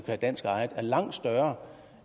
er dansk ejet er langt større